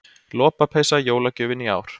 Lopapeysa jólagjöfin í ár